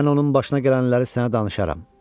Mən onun başına gələnləri sənə danışaram.